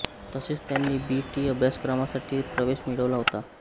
तसेच त्यांनी B T अभ्यासक्रमासाठी प्रवेश मिळवला होता